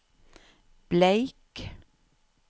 Bleik